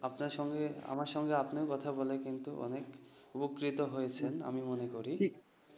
আপনার সঙ্গে আমার সঙ্গে আপনার কথা বলে কিন্তু অনেক উপকৃত হয়েছেন। আমি মনে করি